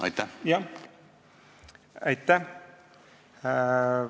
Aitäh!